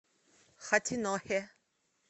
хатинохе